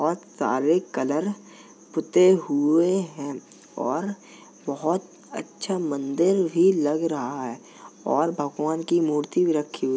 और सारे कलर पुते हुए हैं और बोहोत अच्छा मंदिर भी लग रहा है और भगवान की मूर्ति भी रखी हुई --